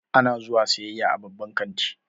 Ana zuwa siyayya a babban kanti.